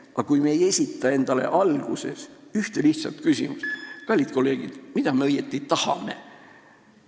Aga kui me ei esita endale kohe alguses ühte lihtsat küsimust – kallid kolleegid, mida me õieti tahame?